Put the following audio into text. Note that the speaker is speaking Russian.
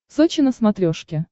сочи на смотрешке